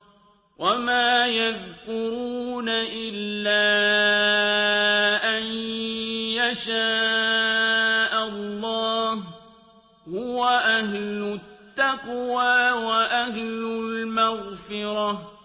وَمَا يَذْكُرُونَ إِلَّا أَن يَشَاءَ اللَّهُ ۚ هُوَ أَهْلُ التَّقْوَىٰ وَأَهْلُ الْمَغْفِرَةِ